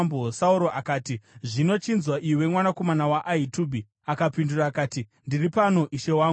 Sauro akati, “Zvino chinzwa, iwe mwanakomana waAhitubhi.” Akapindura akati, “Ndiri pano, ishe wangu.”